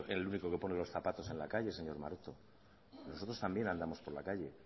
el único que pone los zapatos en la calle señor maroto nosotros también andamos por calle